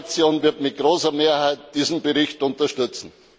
Die EVP Fraktion wird mit großer Mehrheit diesen Bericht unterstützen.